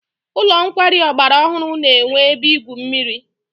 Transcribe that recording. Ụlọ nkwari ọgbara ọhụrụ na-enwe ebe igwu mmiri.